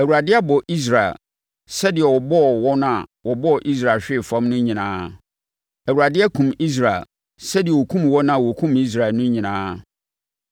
Awurade abɔ Israel sɛdeɛ ɔbɔɔ wɔn a wɔbɔɔ Israel hwee fam no anaa? Awurade akum Israel sɛdeɛ ɔkum wɔn a wɔkum Israel no anaa?